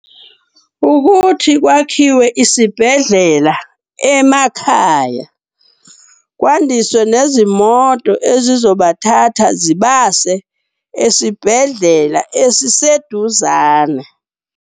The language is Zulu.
Ukuthi kwakhiwe isibhedlela emakhaya, kwandiswe nezimoto ezizobathatha zibase esibhedlela esiseduzane.